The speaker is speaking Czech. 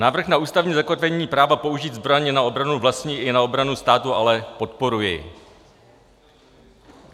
Návrh na ústavní zakotvení práva použít zbraň na obranu vlastní i na obranu státu ale podporuji.